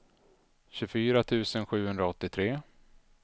tjugofyra tusen sjuhundraåttiotre